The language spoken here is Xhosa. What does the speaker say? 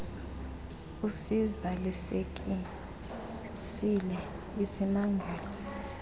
usiza lisekisile isimangali